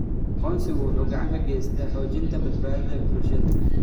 Aqoonsigu wuxuu gacan ka geystaa xoojinta badbaadada bulshada.